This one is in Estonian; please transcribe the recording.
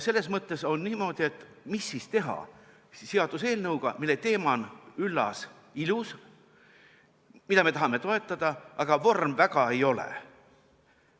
Selles mõttes on niimoodi: mis siis teha seaduseelnõuga, mille teema on üllas-ilus ja mida me tahame toetada, aga vorm väga ei ole.